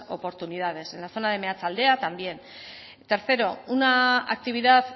oportunidades en la zona de meatzaldea también tercero una actividad